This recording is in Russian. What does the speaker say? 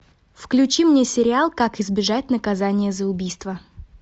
включи мне сериал как избежать наказания за убийство